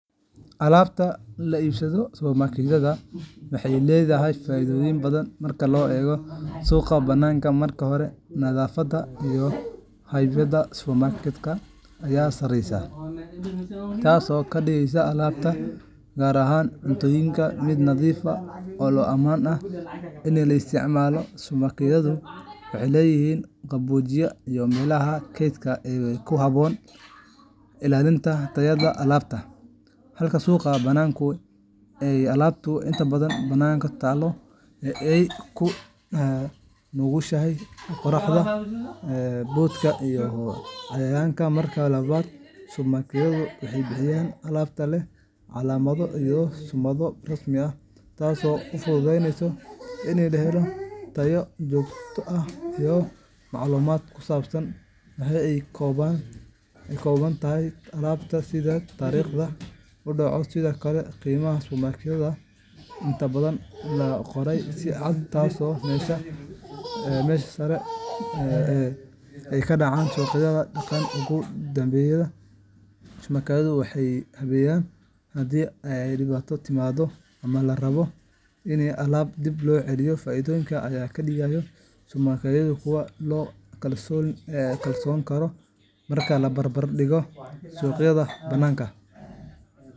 Alaabta laga iibsado supermarket-yada waxay leedahay faa’iidooyin badan marka loo eego suuqa bannaanka. Marka hore, nadaafadda iyo habkaynta supermarket-ka ayaa sareysa, taas oo ka dhigaysa alaabta gaar ahaan cunnooyinka mid nadiif ah oo ammaan ah in la isticmaalo. Supermarket-yadu waxay leeyihiin qaboojiye iyo meelaha kaydka ee ku habboon ilaalinta tayada alaabta, halka suuqa bannaanka ay alaabtu inta badan bannaanka taallo oo ay u nugushahay qorraxda, boodhka iyo cayayaanka. Marka labaad, supermarket-yadu waxay bixiyaan alaab leh calaamado iyo summado rasmi ah, taas oo fududeysa in la helo tayo joogto ah iyo macluumaad ku saabsan waxa ay ka kooban tahay alaabtu, sida taariikhda uu dhacayo. Sidoo kale, qiimaha supermarket-ka ayaa inta badan la qoray si cad, taasoo meesha ka saaraysa baahida gorgortanka badan ee ka dhaca suuqyada dhaqameed. Ugu dambayn, adeegga macaamiisha ee supermarket-yadu waa mid habaysan, taasoo sahlaysa in la helo caawimo haddii dhibaato timaado ama la rabo in alaab dib loo celiyo. Faa’iidooyinkan ayaa ka dhigaya supermarket-yada kuwo aad loogu kalsoonaan karo marka la barbar dhigo suuqyada banaanka.